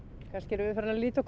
kannski erum við farin að líta okkur